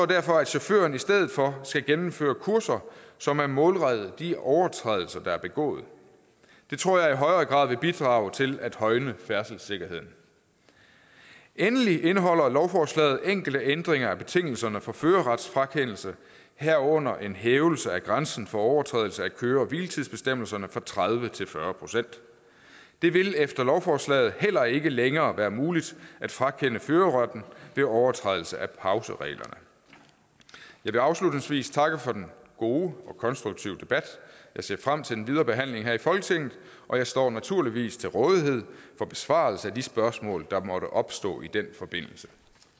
derfor at chaufføren i stedet for skal gennemføre kurser som er målrettet de overtrædelser der er begået det tror jeg i højere grad vil bidrage til at højne færdselssikkerheden endelig indeholder lovforslaget enkelte ændringer af betingelserne for førerretfrakendelse herunder en hævelse af grænsen for overtrædelse af køre hvile tids bestemmelserne fra tredive procent til fyrre procent det vil efter lovforslaget heller ikke længere være muligt at frakende førerretten ved overtrædelse af pausereglerne jeg vil afslutningsvis takke for den gode og konstruktive debat jeg ser frem til den videre behandling her i folketinget og jeg står naturligvis til rådighed for besvarelse af de spørgsmål der måtte opstå i den forbindelse